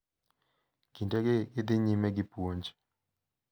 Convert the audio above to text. Kindegi gidhi nyime gi puonj.